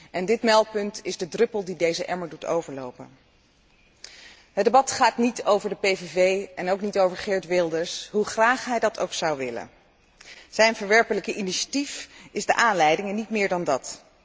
En dit meldpunt is de druppel die de emmer doet overlopen. Het debat gaat niet over de PVV en ook niet over Geert Wilders, hoe graag hij dat ook zou willen. Zijn verwerpelijke initiatief is de aanleiding en niet meer dan dat.